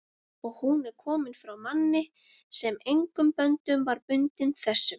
og hún er komin frá manni, sem engum böndum var bundinn þessum